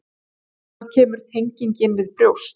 Þaðan kemur tengingin við brjóst.